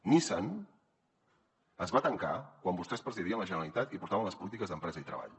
nissan es va tancar quan vostès presidien la generalitat i portaven les polítiques d’empresa i treball